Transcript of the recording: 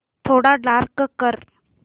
थोडा डार्क कर